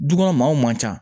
Du kɔnɔ maaw man ca